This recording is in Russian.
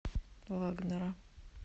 вагнера